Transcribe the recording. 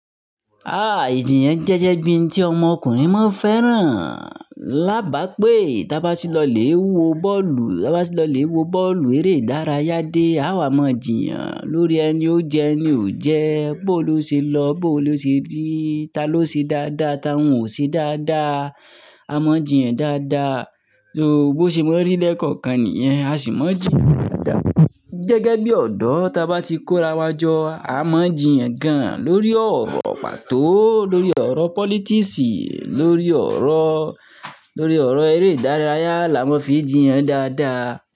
Ah, ìjiyàn jẹ́ je bi n tí ọmọkùnrin máa ń fẹ́ràn. Labápé, tí a bá ti lọ lè wo bọ́ọ̀lù, tí a bá ti lọ lè wo bọ́ọ̀lù eré ìdárayá dé, a wà máa jiyàn lórí ẹni ó jẹ ẹni ò jẹ, bó lo ṣe lọ, bó lo ṣe rí, ta ló ṣe dáadáa, ta ń ò ṣe dáadáa. A máa ń jiyàn dáadáa. Bí ó ṣe máa ń rí lẹ́ẹ̀kọ̀kan nìyẹn, a sì máa ń jiyàn dáadáa. Gẹ́gẹ́ bí ọ̀dọ́ tí a bá ti kórawọ́ jọ, a máa ń jiyàn gan-an lórí ọ̀rọ̀ pàtó, lórí ọ̀rọ̀ politics, lórí ọ̀rọ̀, lórí ọ̀rọ̀ eré ìdárayá la máa ń fi jiyàn dáadáa.